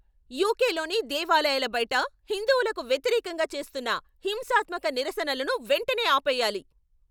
యూకేలోని దేవాలయాల బయట హిందువులకు వ్యతిరేకంగా చేస్తున్న హింసాత్మక నిరసనలను వెంటనే ఆపేయాలి.